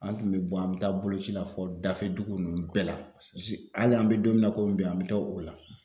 An tun be bɔ an bɛ taa boloci la fɔ dafɛ dugu ninnu bɛɛ la s z hali an be don min na komi bi an be taa o la.